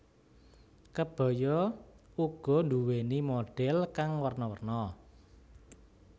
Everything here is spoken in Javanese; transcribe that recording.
Kebaya uga nduwéni modhel kang werna werna